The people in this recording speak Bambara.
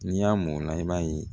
N'i y'a mɔ o la i b'a ye